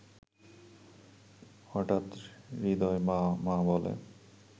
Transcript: হঠাৎ হৃদয় মা.. মা.. বলে